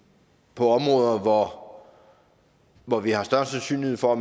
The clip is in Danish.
på områder hvor hvor vi har større sandsynlighed for